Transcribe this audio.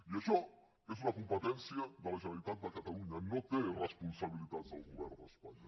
i això és una competència de la generalitat de catalunya no hi té responsabilitats el govern d’espanya